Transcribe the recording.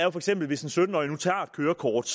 tager et kørekort